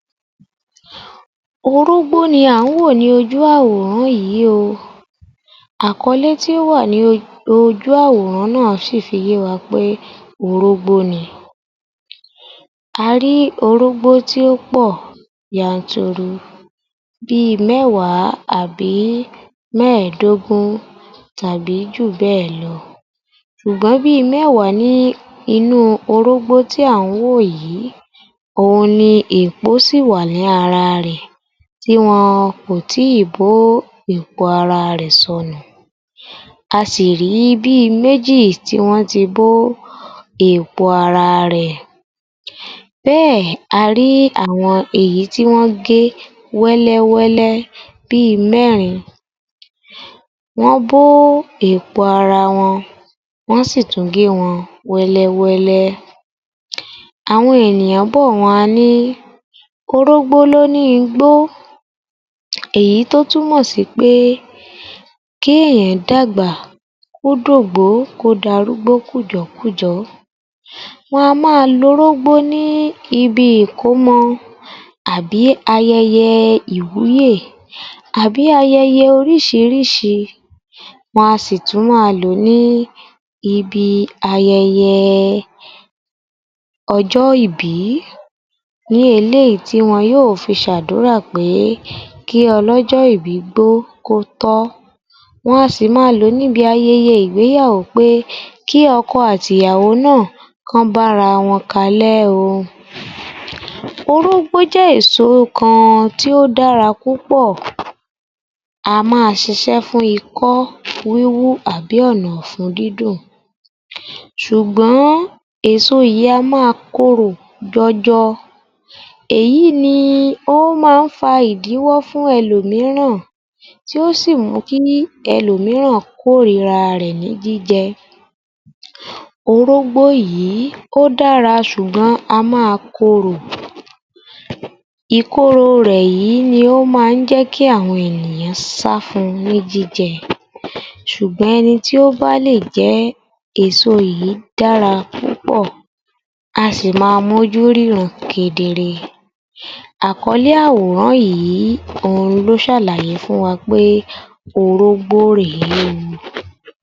25_ yoruba_yor_f_518_AG00008 Orógbó ni à ń wò ní ojú àwòrán yì í o. Àkọlẹ́ tí ó wà ní o ojú àworán yì í sì fi i yé wa pé orógbó ni. A rí í orógbó tí ó pọ́ ọ̀ yanturu bí i mẹ́wàá àbí mẹ́ẹ̀dógún tàbí jùbẹ́ ẹ̀ lọ. Ṣùgbọ́n bí i mẹ́wàá ní inú orógbó tí à ń wò yì í òun ni èèpo sì ì wà ní ara rẹ̀ tí wọn kò tí ì bó èèpo ara rẹ̀ sọnù. A sì rí í bí i méjì tí wọ́n ti bó ó èèpo ara rẹ̀. Bẹ́ ẹ̀ a rí àwọn èyí tí wọ́n gé wẹ́lẹ́wẹ́lẹ́ bí i mẹ́rín-in. Wọ́n bó ó èèpo ara wọn, wọ́n sì ì tún gé wọn wẹ́lẹ́wẹ́lẹ́. Àwọn ènìyàn bọ́ ọ̀ wọn a ní orógbó l'óní i n gbó. Èyí tó túmọ̀ sì pé kí èèyàn dàgbà, kó d'ògbó, kó d'àrúgbó kùjọ́kùjọ́. Wọn a má a lo orógbó ní ibi ìkómọọ, àbí ayẹyẹ ẹ ìwúyè àbí ayẹyẹ ẹ orísìírísìí, wọn a sì tún má a lo ní ibi ayẹyẹ ẹ ọjọ́ ìbí, ní eléyìí tí wọn yó ò fi ṣ'àdúrà pé é kí ọlọ́jọ́ ìbí gbọ́, kó tọ́. Wọn a sì ì má a lo ní ibi ayẹyẹ ìgbéyàwó pé é kí ọkọ àti ìyàwó ná à kán bára wọn kalẹ́ ó. Orógbó jẹ́ èso kan tó dára púpọ̀. A má a ṣ'isẹ́ fún ikọ́ wíwú àbí ọ̀nà ọ̀fun dídùn. Sùgbọ́n èso yì í a má a korò jọjọ. Èyí ni i ó ma á ń fa ìdíwọ́ fún elòmíràn tí ó sì ì mú kí elòmíràn kórira a rẹ̀ ní jíjẹ ẹ. Orógbó yì í ó dára sùgbọ́n a ma a ó korò, ìkorò rẹ̀ yì í ni ó ma á jẹ́ kí àwọn ènìyàn sá á fún un ní jíjẹ. Sùgbọ́n ẹni tí ó bá lè jẹ ẹ́, èso yì í dára púpọ̀, a sì ì má a m'ójú ríran kedere. Àkọlẹ́ àworán yì í òun ló sàlàyé fún wa pé orógbó rè é o.